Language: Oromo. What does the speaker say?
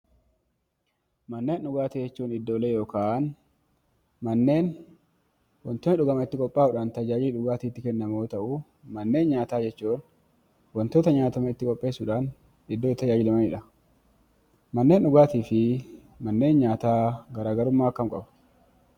Manneen dhugaatii jechuun iddoolee yookaan manneen waantonni dhugaman itti qophaa'uudhaan tajaajilan dhugaatiin itti kennamu yoo ta'u, manneen nyaataa jechuun waantota nyaataman itti qopheessuun Iddoo itti tajaajilamanidha. Manneen dhugaatii fi manneen nyaataa garaagarummaa akkamii qabu?